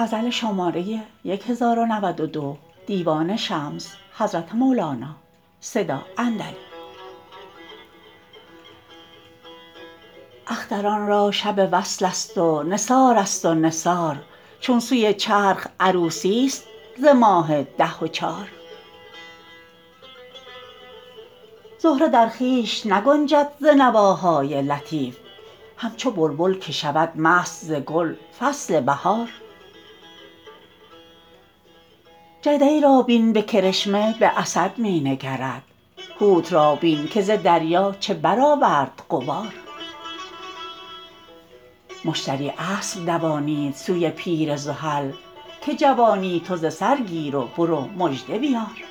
اختران را شب وصلست و نثارست و نثار چون سوی چرخ عروسیست ز ماه ده و چار زهره در خویش نگنجد ز نواهای لطیف همچو بلبل که شود مست ز گل فصل بهار جدی را بین به کرشمه به اسد می نگرد حوت را بین که ز دریا چه برآورد غبار مشتری اسب دوانید سوی پیر زحل که جوانی تو ز سر گیر و بر او مژده بیار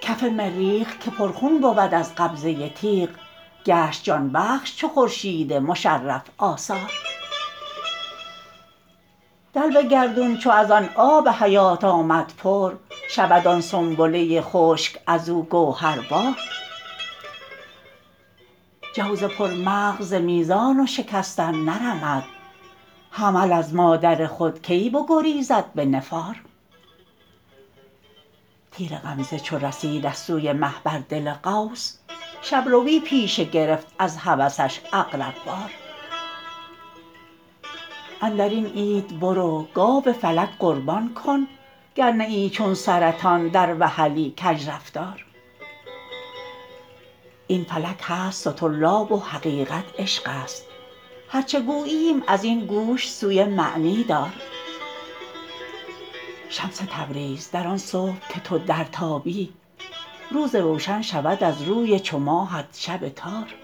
کف مریخ که پرخون بود از قبضه تیغ گشت جان بخش چو خورشید مشرف آثار دلو گردون چو از آن آب حیات آمد پر شود آن سنبله خشک از او گوهربار جوز پرمغز ز میزان و شکستن نرمد حمل از مادر خود کی بگریزد به نفار تیر غمزه چو رسید از سوی مه بر دل قوس شب روی پیشه گرفت از هوسش عقرب وار اندر این عید برو گاو فلک قربان کن گر نه ای چون سرطان در وحلی کژرفتار این فلک هست سطرلاب و حقیقت عشقست هر چه گوییم از این گوش سوی معنی دار شمس تبریز در آن صبح که تو درتابی روز روشن شود از روی چو ماهت شب تار